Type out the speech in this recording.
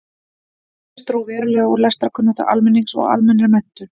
Auk þess dró verulega úr lestrarkunnáttu almennings og almennri menntun.